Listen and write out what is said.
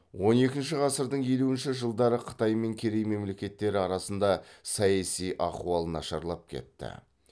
он екінші ғасырдың елуінші жылдары қытай мен керей мемлекеттері арасында саяси ахуал нашарлап кетті